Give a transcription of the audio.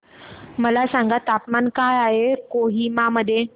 मला सांगा तापमान काय आहे कोहिमा मध्ये